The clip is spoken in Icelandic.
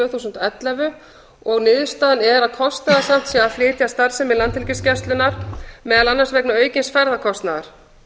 þúsund og ellefu og niðurstaðan er að kostnaðarsamt sé að flytja starfsemi landhelgisgæslunnar meðal annars vegna aukins ferðakostnaðar